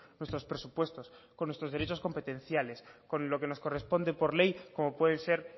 nuestros presupuestos con nuestros derechos competenciales con lo que nos corresponde por ley como pueden ser